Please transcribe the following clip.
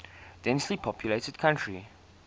densely populated country